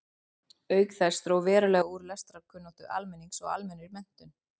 Auk þess dró verulega úr lestrarkunnáttu almennings og almennri menntun.